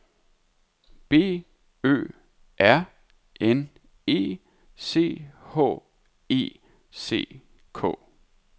B Ø R N E C H E C K